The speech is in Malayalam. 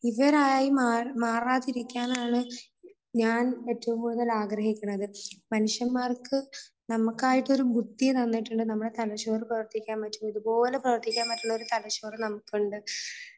ഇവരായി മാറാതിരിക്കാൻ ആണ് ഞാൻ ഏറ്റവും കൂടുതൽ ആഗ്രഹികുന്നത്. മനുഷ്യന്മാർക്ക് നമ്മക്ക് ആയിട്ട് ഒരു ബുദ്ധിയെ തന്നിട്ടുണ്ട്. നമ്മുടെ തലച്ചോറ് പ്രവർത്തിക്കാൻ. ഇതുപോലെ പ്രവർത്തിക്കാൻ പറ്റുന്ന ഒരു തലച്ചോറ് നമുക്ക് ഉണ്ട്